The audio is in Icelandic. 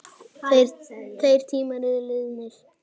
Þeir tímar eru liðnir.